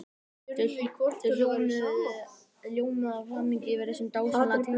Þau ljómuðu af hamingju yfir þessum dásamlega tengdasyni.